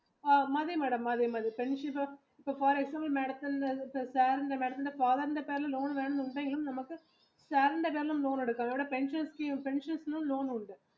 മതി madam മതി father ന്റെ loan വേണം എന്നുണ്ടെങ്കിൽ loan എടുക്കാം ഇവിടെ പെൻഷൻയിലും ലോൺ ഉണ്ട്